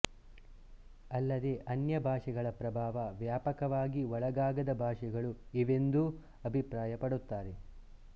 ಅಲ್ಲದೆ ಅನ್ಯ ಭಾಷೆಗಳ ಪ್ರಭಾವ ವ್ಯಾಪಕವಾಗಿ ಒಳಗಾಗದ ಭಾಷೆಗಳು ಇವೆಂದೂ ಅಭಿಪ್ರಾಯಪಡುತ್ತಾರೆ